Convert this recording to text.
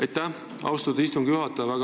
Aitäh, austatud istungi juhataja!